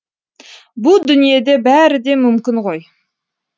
бұ дүниеде бәрі де мүмкін ғой